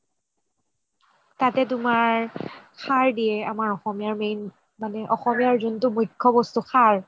তাতে তুমাৰ সাৰ দিয়ে আমাৰ অসমীয়াৰ main মানে অসমীয়াৰ যোনটো মুখ্য বস্তু সাৰ